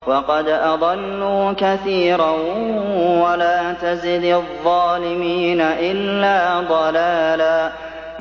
وَقَدْ أَضَلُّوا كَثِيرًا ۖ وَلَا تَزِدِ الظَّالِمِينَ إِلَّا ضَلَالًا